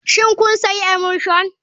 Shin kun sayi emulsion.